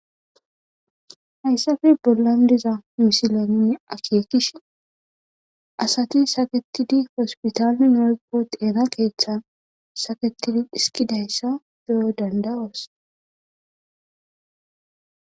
hayssafe bollan diza misileninne akeekish asati saketidi hospitaale woyko xeenakeeththan saketidi iskidayssa beyo danda7oos